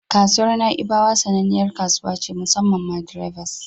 Kasuwar Na'ibawa sananniyar kasuwa ce musammam ma drivers.